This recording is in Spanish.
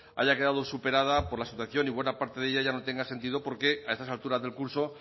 haya quedado superada por la situación y buena parte de ella ya no tenga sentido porque a estas alturas del curso